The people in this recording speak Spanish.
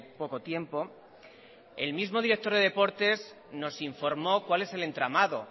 poco tiempo el mismo director de deportes nos informó cuál es el entramado